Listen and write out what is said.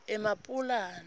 emapulani